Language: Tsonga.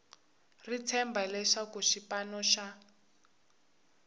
ri tshemba leswaku xipano xa